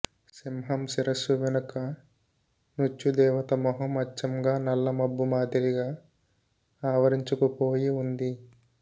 సింహం శిరస్సు వెనుక మృత్యుదేవత మొహం అచ్చగా నల్ల మబ్బు మాదిరిగా ఆవరించుకుపోయి ఉంది